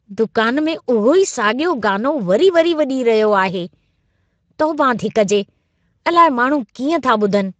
दुकान में उहो ई साॻियो गानो वरी वरी वॼी रहियो आहे। तौबा थी कजे, अलाए माण्हू कीअं था ॿुधनि।